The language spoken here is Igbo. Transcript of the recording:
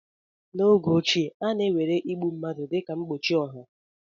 N'oge ochie, a na-ewere igbu ụmụ nwanyị dịka ihe mgbochi ọha.